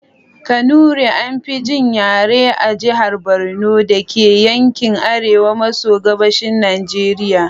Kanuri: An fi jin yaren a jihar Borno da ke yankin arewa maso gabashin Najeriya.